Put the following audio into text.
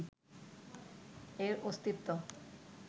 এর অস্তিত্ব